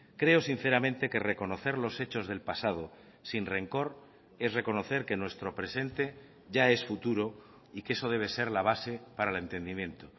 creo sinceramente que reconocer los hechos del pasado sin rencor es reconocer que nuestro presente ya es futuro y que eso debe ser la base para el entendimiento